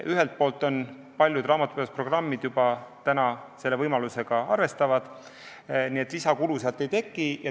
Ühelt poolt paljud raamatupidamisprogrammid juba selle võimalusega arvestavad, nii et lisakulu ei teki.